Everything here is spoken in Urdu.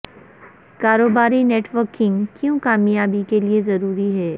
کاروباری نیٹ ورکنگ کیوں کامیابی کے لئے ضروری ہے